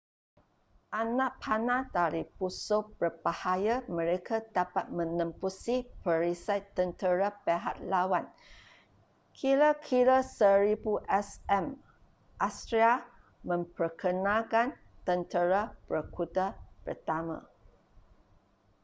anak panah dari busur berbahaya mereka dapat menembusi perisai tentera pihak lawan kira-kira 1000 sm assyria memperkenalkan tentera berkuda pertama